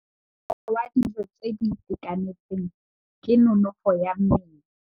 Mosola wa dijô tse di itekanetseng ke nonôfô ya mmele.